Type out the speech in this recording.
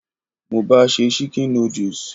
Mo ba se "chicken noodles".